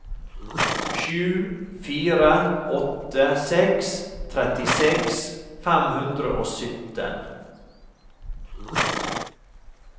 sju fire åtte seks trettiseks fem hundre og sytten